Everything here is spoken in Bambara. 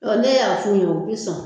ne y'a f'u ye u bɛ sɔn